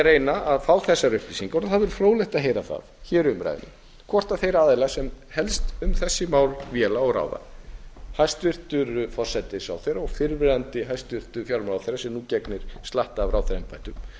reyna að fá þessar upplýsingar og það væri fróðlegt að heyra það í umræðunni hvort þeir aðilar sem helst um þessi mál véla og ráða hæstvirtur forsætisráðherra og fyrrverandi hæstvirtur fjármálaráðherra sem nú gegnir slatta af ráðherraembættum